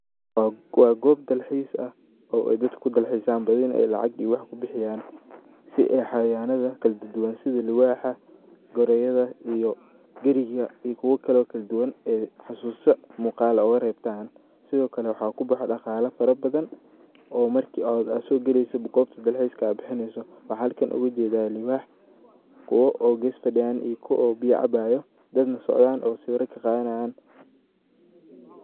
Wa gob dal xis ah oo dadka kudalxeesan bathi nah wax iyo lacag kubixeeyan si ay xawayanatha kala du duwan setha luuwaxa , gooroyada iyo geerika iyo kuwa Kali oo kala duduwan ee xasusa muqaal UGA reebtaan sethi Kali waxa kubaxdha daqhala farabathan oo marki AA sokaleeysoh koobta dalxeeska, a bixineysoh waxa halkan UGA jeedah luwwax oo Gees fadiyan iyo ku oo beeya caabayo dad soocdah oo sawira ka qathanayan .